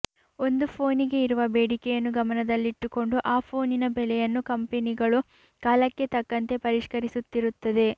ಒಂದು ಫೋನಿಗೆ ಇರುವ ಬೇಡಿಕೆಯನ್ನು ಗಮನದಲ್ಲಿಟ್ಟುಕೊಂಡು ಆ ಫೋನಿನ ಬೆಲೆಯನ್ನು ಕಂಪೆನಿಗಳು ಕಾಲಕ್ಕೆ ತಕ್ಕಂಥೆ ಪರಿಷ್ಕರಿಸುತ್ತಿರುತ್ತದೆ